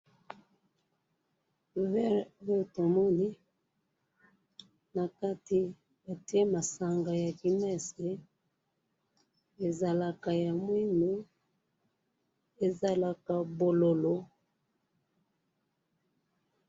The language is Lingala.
verre oyo tomoni nakati batiye masanga ya guinness ezalaka mwindu ezalaku bololo.